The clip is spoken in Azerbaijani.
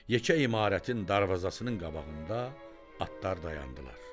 Yekə imarətin darvazasının qabağında atlar dayandılar.